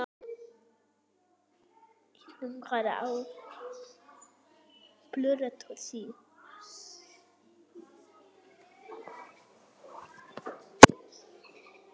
Það gerum við ekki svona.